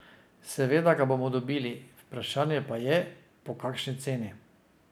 Seveda ga bomo dobili, vprašanje pa je, po kakšni ceni.